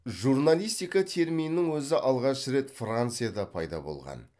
журналистика терминінің өзі алғаш рет францияда пайда болған